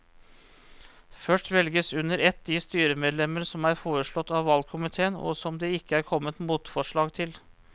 Først velges under ett de styremedlemmer som er foreslått av valgkomiteen og som det ikke er kommet motforslag til.